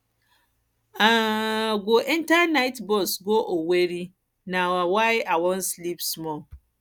i um go enta night um bus go owerri bus go owerri um na why i wan sleep small